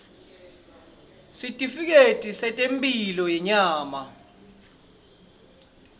sitifiketi setemphilo yenyama